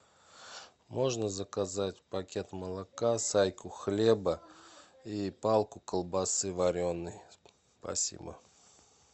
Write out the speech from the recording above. можно заказать пакет молока сайку хлеба и палку колбасы вареной спасибо